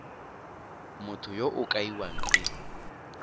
motho yo o kaiwang e